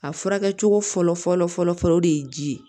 A furakɛli cogo fɔlɔ fɔlɔ fɔlɔ fɔlɔ o de ye ji ye